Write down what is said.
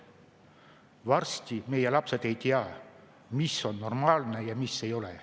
Varsti meie lapsed ei tea, mis on normaalne ja mis ei ole.